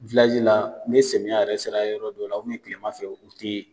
la, ni samiya yɛrɛ sara yɔrɔ dɔ la kilema fɛ u tɛ ye.